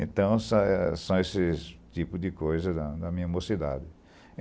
Então são são esses tipos de coisas da da minha mocidade.